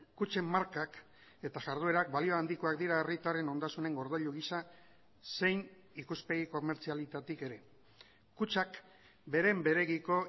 kutxen markak eta jarduerak balio handikoak dira herritarren ondasunen gordailu gisa zein ikuspegi komertzialetik ere kutxak beren beregiko